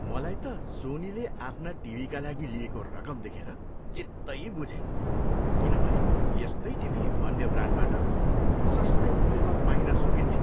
मलाई त सोनीले आफ्ना टिभीका लागि लिएको रकम देखेर चित्तै बुझेन किनभने यस्तै टिभी अन्य ब्रान्डबाट सस्तै मूल्यमा पाइन सकिन्थ्यो।